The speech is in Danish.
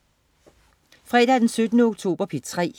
Fredag den 17. oktober - P3: